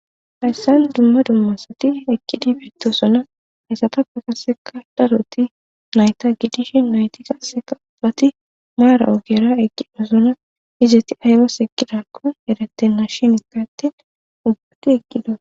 Haysan dumma dumma asati eqidi betosona izetapeka qaseka daroti nayta gidishin naytika qaseka ubbati maarara eqidayti izeti azas eqidakon eretena shin eti ubbi eqida.